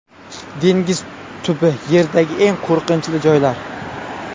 Dengiz tubi Yerdagi eng qo‘rqinchli joylar.